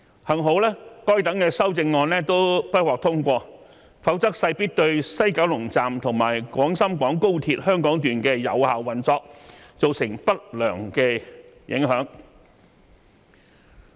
幸好該等修正案都不獲通過，否則勢必對西九龍站及廣深港高鐵香港段的有效運作造成不良影響。